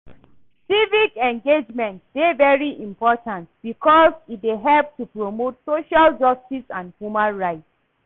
civic engagement dey very important because e dey help to promote social justice and human rights.